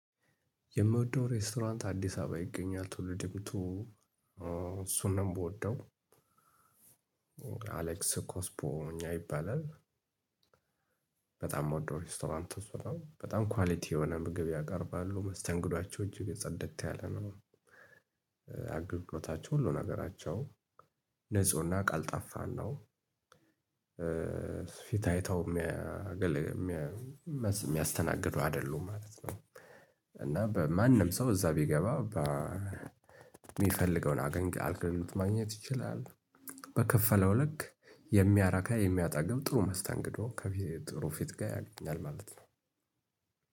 የምወደው ሬስቶራንት አዲስ አበባ ይገኛል ቱሉዲምቱ እሱን ነው የምወደው። አሌክስ ኮስፖኛ ይባላል። በጣም የምወደው ሬስቶራንት እሱ ነው። በጣም ኳሊቲ የሆነ ምግብ ያቀርባሉ። መስተንግዷቸው እጅግ ጽድት ያለ ነው። አገልግሎታቸው ሁሉ ነገራቸው ንፁህና ቀልጣፋ ነው። ፊት አይተው የሚያገለግሉ የሚያ የሚያስ የሚያስተናግዱ አይደሉም ማለት ነው። እና በማንም ሰው እዛ ቢገባ በ ሚፈልገውን አገኝ አገልግሎት ማግኘት ይችላል። በከፈለው ልክ የሚያረካ የሚያጠግብ ጥሩ መስተንግዶ ከፊ ጥሩ ፊት ጋር ያገኛል ማለት ነው።